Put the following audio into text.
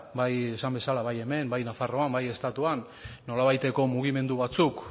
bai esan bezala bai hemen bai nafarroan bai estatuan nolabaiteko mugimendu batzuk